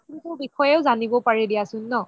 বিষয়ে জানিব পাৰি দিয়াচোন ন ?